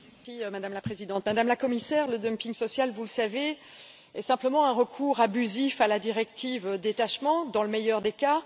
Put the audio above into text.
Madame la Présidente, Madame la Commissaire, le dumping social, vous le savez, est simplement un recours abusif à la directive sur le détachement, dans le meilleur des cas.